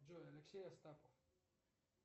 джой алексей астапов